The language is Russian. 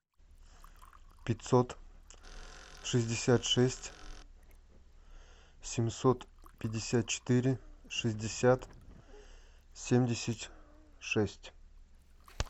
пятьсот шестьдесят шесть семьсот пятьдесят четыре шестьдесят семьдесят шесть